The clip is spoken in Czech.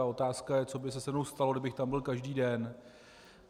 A otázka je, co by se se mnou stalo, kdybych tam byl každý den.